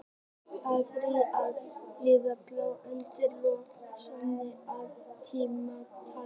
Ár hvaða dýrs líður brátt undir lok samkvæmt kínversku tímatali?